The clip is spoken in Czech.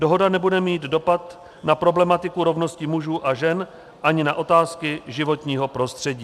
Dohoda nebude mít dopad na problematiku rovnosti mužů a žen ani na otázky životního prostředí.